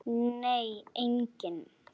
Nei, enginn